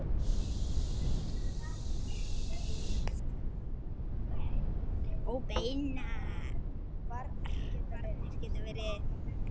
Óbeinar varnir geta verið